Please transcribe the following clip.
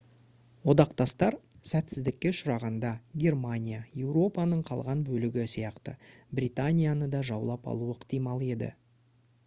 одақтастар сәтсіздікке ұшырағанда германия еуропаның қалған бөлігі сияқты британияны да жаулап алуы ықтимал еді